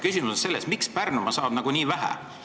Küsimus on selles, miks Pärnumaa nii vähe saab.